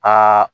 Aa